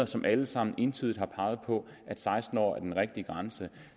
som alle sammen entydigt har peget på at seksten år er den rigtige grænse